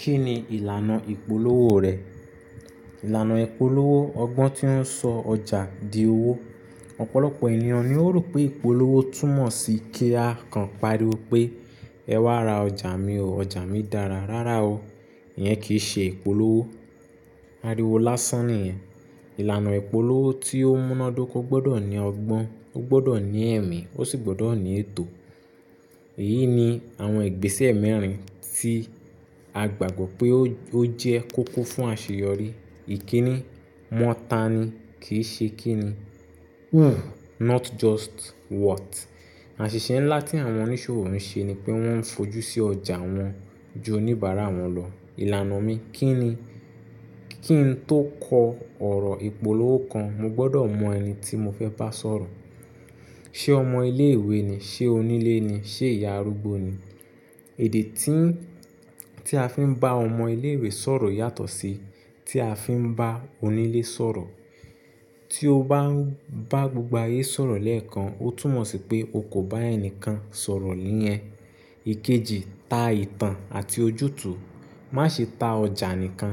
Kí ni ìlànà ìpolówó rẹ̀? Ìlànà ìpolówó ọgbọ́n tí ó ń sọ ọjà di owó. Ọ̀pọ̀lọpọ̀ ènìyàn ni ó rò pé ìpolówó túmọ̀ sí kí a kan pariwo pé "Ẹ wá ra ọjà mi o, ọjà mi dára." Rárá o, ìyẹn kì í ṣe ìpolówó. Áriwo lásán nìyẹn. Ìlànà ìpolówó tí ó múnádóko gbọdọ̀ ní ọgbọ́n, ó gbọdọ̀ ní ẹ̀mí, ó sì gbọdọ̀ ní ètò. Èyí ni àwọn ìgbésẹ̀ mẹ́rin tí a gbàgbọ́ pé ó jẹ́ kókó fún àṣeyọrí. I. Kí ni? Mọ̀ tán ni, kì í ṣe kí ni. Who not just what. Àṣìṣe ńlá tí àwọn oníṣòwò ń ṣe ni pé wọ́n ń fojú sí ọjà wọn ju oníbàárà wọn lọ. Ìlànà mi, kí ni? Kí n tó kọ ọ̀rọ̀ ìpolówó kan, mo gbọdọ̀ mọ ẹni tí mo fẹ́ bá sọ̀rọ̀. Ṣé ọmọ ilé ìwé ni? Ṣé onílé ni? Ṣé ìyá arúgbó ni? Èdè tí a fi ń bá ọmọ ilé ìwé sọ̀rọ̀ yàtọ̀ sí tí a fi ń bá onílé sọ̀rọ̀. Tí o bá bá gbogbo ayé sọ̀rọ̀ lẹ́ẹ̀kan, ó túmọ̀ sí pé o kò bá ẹnikẹ́ni sọ̀rọ̀ léyẹn. Ikeji, ta ìtàn àti ojútùú, má ṣe ta ọjà nìkan.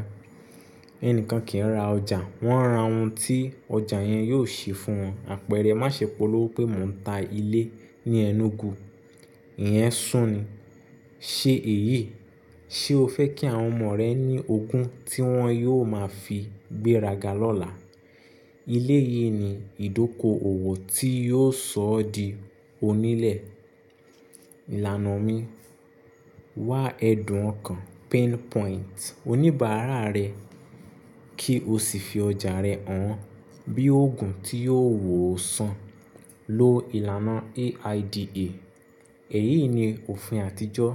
Ẹnikẹ́ni kì í ra ọjà, wọ́n ń ra ohun tí ọjà yẹn yóò ṣe fún wọn. Àpẹẹrẹ, má ṣe polówó pé mò ń ta ilé ní Enugu. Ìyẹn sún ni. Ṣe èyí, ṣe o fẹ́ kí àwọn ọmọ rẹ ní ogún tí wọ́n yóò máa fi gbéraga lọ́la? Ilé yìí ni ìdókòwò tí yóò sọ ọ di onílẹ̀. Ìlànà mi, wá ẹ̀dùn ọ̀kan, pinpoint oníbàárà rẹ kí o sì fi ọjà rẹ hàn bí òògùn tí yóò wò ó san. Lo ìlànà A.I.D.A. Èyí ni òfin àtijọ́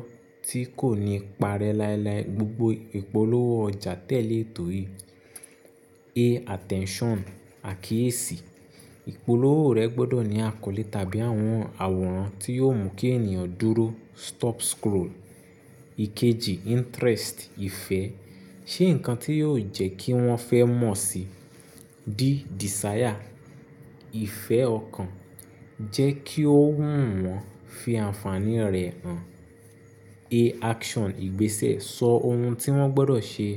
tí kò ní ipa rẹ láéláé gbogbo ìpolówó ọjà tẹ́lẹ̀ ètò yìí. A. Attention/Àkíyèsí. Ìpolówó rẹ gbọ́dọ̀ ní àkọlé tàbí àwọn àwòrán tí yóò mú kí ènìyàn dúró, stop scroll. Ikeji, Interest/Ìfẹ́. Ṣe nǹkan tí yóò jẹ́ kí wọ́n fẹ́ mọ̀ síi. D. Desire/Ìfẹ́ ọkàn. Jẹ́ kí ó wù wọ́n, fi ànfàní rẹ̀ hàn. A. Action/Ìgbésẹ̀. Sọ ohun tí wọ́n gbọdọ̀ ṣe,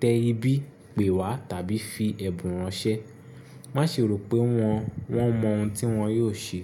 tẹ ibí, pè wá tàbí fi ẹ̀bùn ránṣẹ́. Má ṣe rò pé wọ́n mọ ohun tí wọ́n yóò ṣe.